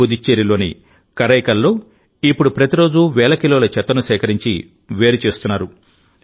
పుదుచ్చేరిలోని కరైకల్లో ఇప్పుడు ప్రతిరోజూ వేల కిలోల చెత్తను సేకరించి వేరు చేస్తున్నారు